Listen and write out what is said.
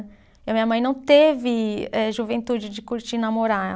E a minha mãe não teve eh juventude de curtir namorar.